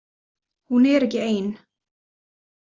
Hún er ekki ein.